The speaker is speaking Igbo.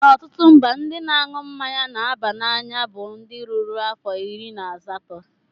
Na ọtụtụ mba, ndị na-aṅụ mmanya na-aba n'anya bụ ndị rurula afọ iri na asatọ.